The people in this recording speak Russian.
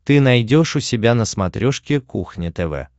ты найдешь у себя на смотрешке кухня тв